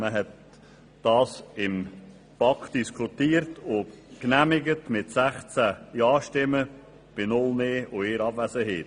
Man hat das Geschäft in der BaK diskutiert und mit 16 Ja- gegen 0 NeinStimmen bei 1 Abwesenheit genehmigt.